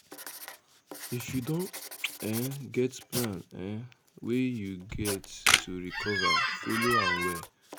If you don um get plan um wey you get to recover, follow am well